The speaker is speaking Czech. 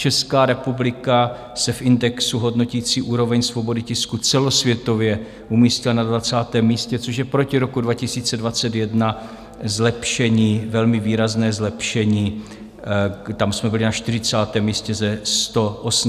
Česká republika se v indexu hodnotícím úroveň svobody tisku celosvětově umístila na 20. místě, což je proti roku 2021 zlepšení, velmi výrazné zlepšení, tam jsme byli na 40. místě ze 180 hodnocení.